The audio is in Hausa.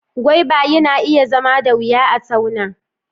Gwaiva na iya zama da wuya a tauna